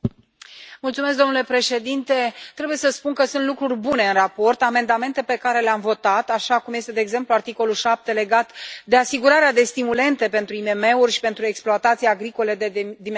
Domnule președinte, trebuie să spun că sunt lucruri bune în raport, amendamente pe care le am votat, așa cum este de exemplu articolul 7 legat de asigurarea de stimulente pentru IMM uri și pentru exploatații agricole de dimensiuni mici.